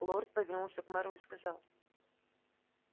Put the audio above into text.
лорд повернулся к мэру и сказал